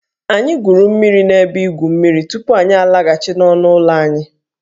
Anyị gwuru mmiri n'ebe igwu mmiri tupu anyị alaghachi n'ọnụ ụlọ anyị